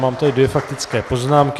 Mám tady dvě faktické poznámky.